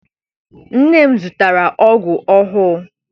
Nne m zụtara ọgụ ọhụụ.